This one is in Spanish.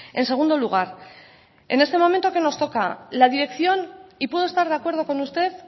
en segundo lugar en este momento qué nos toca la dirección y puedo estar de acuerdo con usted